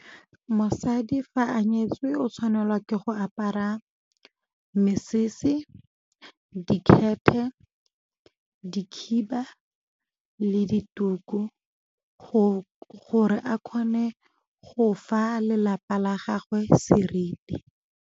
Mosadi fa a nyetswe o tshwanelwa ke go apara mesese, dikete, dikhiba le dituku gore a kgone go fa lelapa la gagwe seriti.